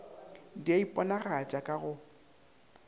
di a iponagatša ka go